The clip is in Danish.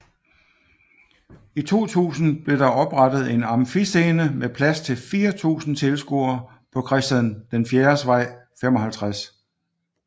I 2000 blev der oprettet en Amfiscene med plads til 4000 tilskuere på Christian IVs Vej 55